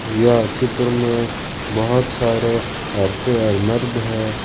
यह चित्र में बहोत सारे औरतें और मर्द हैं।